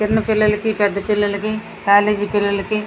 చిన్న పిల్లలకి పెద్ద పిల్లలకి కాలేజ్ పిల్లలకి --